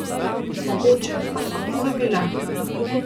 Mogoče pa sva pozabila?